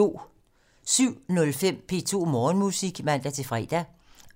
07:05: P2 Morgenmusik (man-fre)